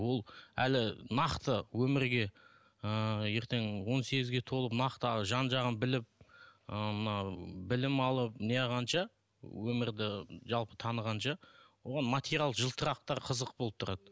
ол әлі нақты өмірге ыыы ертең он сегізге толып нақты жан жағын біліп ыыы мынау білім алып неағығанша өмірді жалпы танығанша оған материал жылтырақтар қызық болып тұрады